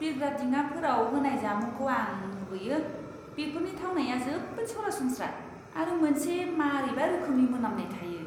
बिरग्रा दिङाफोराव होनाय जामुंखौ आं मुगैयो। बेफोरनि थावनाया जोबोद सरासनस्रा आरो मोनसे मारैबा रोखोमनि मोनामनाय थायो।